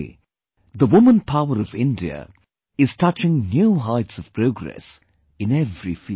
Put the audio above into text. Today the woman power of India is touching new heights of progress in every field